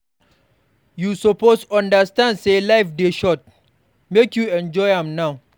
You suppose understand sey life dey short, make you enjoy am now.